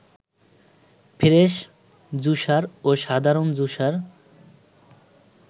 fresh juicer ও সাধারণ juicer